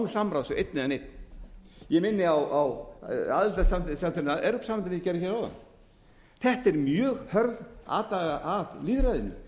samráðs við einn eða neinn ég minni á aðildarsamþykktina að evrópusambandinu hér áðan þetta er mjög hörð atlaga að lýðræðinu